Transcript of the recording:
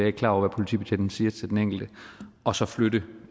ikke klar over hvad politibetjenten siger til den enkelte og så flytte